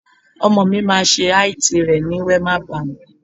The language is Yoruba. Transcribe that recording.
Ọmọ mi máa ṣe IT rẹ ní Wema Bank.